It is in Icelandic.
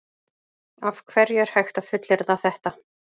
Af hverju er hægt að fullyrða þetta?